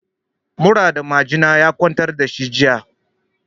Mura da majina ya kwantar da shi jiya.